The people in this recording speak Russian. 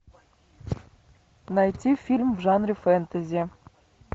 найти фильм в жанре фэнтези